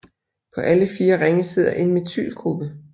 På alle fire ringe sidder en methylgruppe